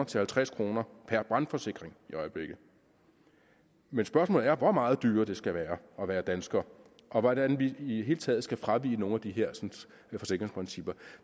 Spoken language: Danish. til halvtreds kroner per brandforsikring i øjeblikket men spørgsmålet er hvor meget dyrere det skal være at være dansker og hvordan vi i det hele taget skal fravige nogle af de hersens forsikringsprincipper